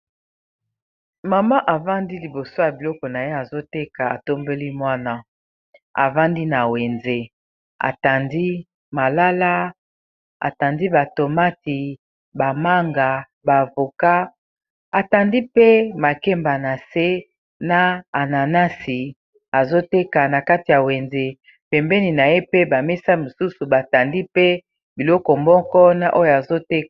Mama avandi liboso ya biloko na ye azoteka atombeli mwana avandi na wenze atandi malala atandi ba tomati ba manga ba avocat atandi pe makemba na se na ananasi azoteka na kati ya wenze pembeni na ye pe ba mesa mosusu batandi pe biloko moko na oyo azoteka.